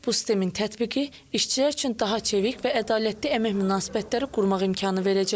Bu sistemin tətbiqi işçilər üçün daha çevik və ədalətli əmək münasibətləri qurmaq imkanı verəcək.